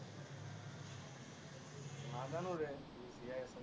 নাজানো ৰে